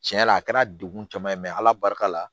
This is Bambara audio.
Tiɲɛ yɛrɛ la a kɛra degun caman ye mɛ ala barika la